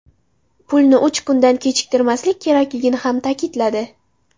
Pulni uch kundan kechiktirmaslik kerakligini ham ta’kidladi.